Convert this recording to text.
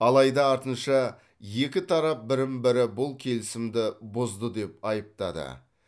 алайда артынша екі тарап бірін бірі бұл келісімді бұзды деп айыптады